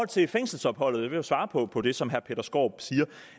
til fængselsopholdet for at svare på på det som herre peter skaarup siger